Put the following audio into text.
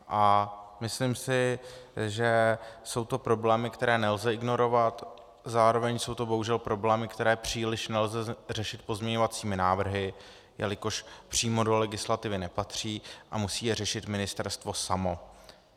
A myslím si, že jsou to problémy, které nelze ignorovat, zároveň jsou to bohužel problémy, které příliš nelze řešit pozměňovacími návrhy, jelikož přímo do legislativy nepatří a musí je řešit ministerstvo samo.